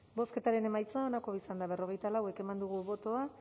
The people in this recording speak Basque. bozketaren emaitza onako izan da hirurogeita hamabost eman dugu bozka